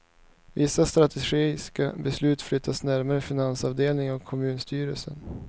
Vissa strategiska beslut flyttas närmare finansavdelningen och kommunstyrelsen.